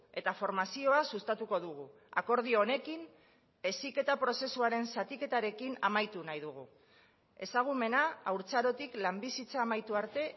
eta formazioa sustatuko dugu akordio honekin heziketa prozesuaren zatiketarekin amaitu nahi dugu ezagumena haurtzarotik lan bizitza amaitu arte